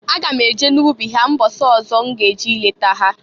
Aga m eje n'ubi ha mbọsị ọzọ m ga-eje ileta ha.